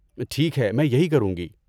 ٹھیک ہے، میں یہی کروں گی۔